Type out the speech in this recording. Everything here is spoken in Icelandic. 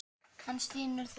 Hann stynur þungan.